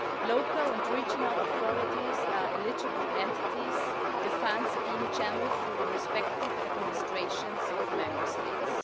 Local and regional authorities are eligible entities, the funds being channelled through the respective administrations of Member States.